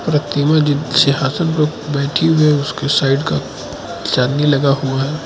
प्रतिमा जिस सिंहासन पर बैठी हुई है उसके साइड का चांदी लगा हुआ है।